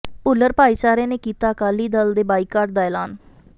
ਭੁੱਲਰ ਭਾਈਚਾਰੇ ਨੇ ਕੀਤਾ ਅਕਾਲੀ ਦਲ ਦੇ ਬਾਈਕਾਟ ਦਾ ਐਲਾਨ